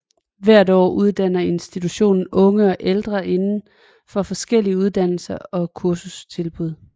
Hvert år uddanner institutionen unge og ældre indenfor forskellige uddannelser og kursustilbud